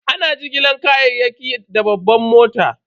Ana jigilar kayayyaki da babban mota.